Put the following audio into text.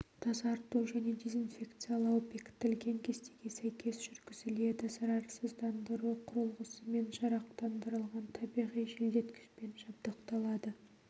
тазарту және дезинфекциялау бекітілген кестеге сәйкес жүргізіледі зарарсыздандыру құрылғысымен жарақтандырылған табиғи желдеткішпен жабдықталады